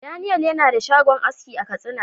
"Daniel " yana da shagon aski a katsina.